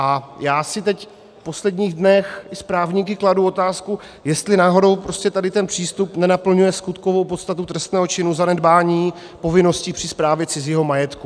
A já si teď v posledních dnech s právníky kladu otázku, jestli náhodou tady ten přístup nenaplňuje skutkovou podstatu trestného činu zanedbání povinností při správě cizího majetku.